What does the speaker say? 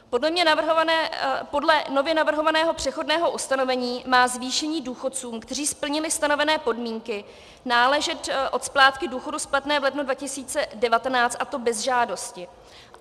Podle nově navrhovaného přechodného ustanovení má zvýšení důchodcům, kteří splnili stanovené podmínky, náležet od splátky důchodu splatné v lednu 2019, a to bez žádosti.